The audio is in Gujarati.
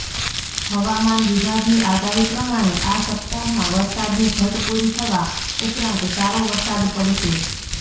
હવામાન વિભાગની આગાહી પ્રમાણે આ સપ્તાહમાં વરસાદની ઘટ પૂરી થવા ઉપરાંત સારો વરસાદ પડશે